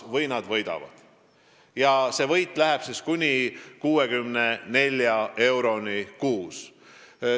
Nende inimeste võit ulatub kuni 64 euroni kuus.